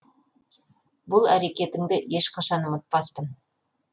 бұл әрекетіңді еш қашан ұмытпаспын